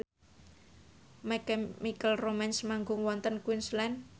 My Chemical Romance manggung wonten Queensland